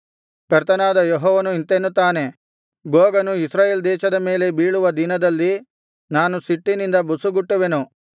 ಕರ್ತನಾದ ಯೆಹೋವನು ಇಂತೆನ್ನುತ್ತಾನೆ ಗೋಗನು ಇಸ್ರಾಯೇಲ್ ದೇಶದ ಮೇಲೆ ಬೀಳುವ ದಿನದಲ್ಲಿ ನಾನು ಸಿಟ್ಟಿನಿಂದ ಬುಸುಗುಟ್ಟುವೆನು